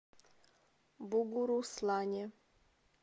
бугуруслане